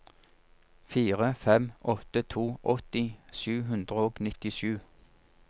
fire fem åtte to åtti sju hundre og nittisju